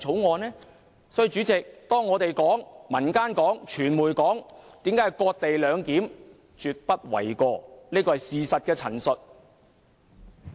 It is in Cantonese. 所以，代理主席，我們、民間和傳媒說這是"割地兩檢"，這說法絕不為過，是事實的陳述。